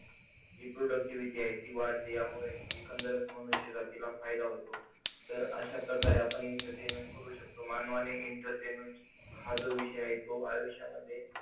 जी productivity आहे ती वाढते, यामुळे एकंदरच मनुष्य जातीला फायदा होतो. तर अशाप्रकारे आपण entertainment करू शकतो. मानवाने entertainment हा जो विषय आहे तो आयुष्यामध्ये